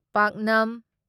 ꯄꯥꯛꯅꯝ